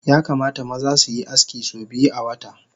Yakamata maza suyi aski so biyu awata